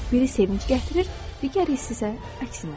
Biri sevinc gətirir, digəri isə əksinə.